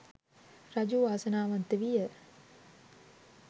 රජු වාසනාවන්ත විය.